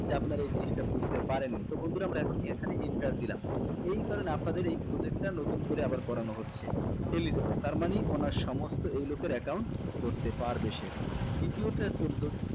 যে আপনারা এই জিনিষটা বুঝতে পারেন নি তো বন্ধুরা আমরা এখন এখানে enter দিলাম এই কারণে আপনাদের এই project টা নতুন করে আবার করানো হচ্ছে eligible তার মানে ওনার সমস্ত এই লোকের account করতে পারবে সে দ্বিতীয়